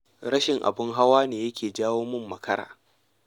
Rashin abin hawa ne ya ke janyo min makara.